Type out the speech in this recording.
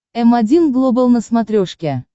м один глобал на смотрешке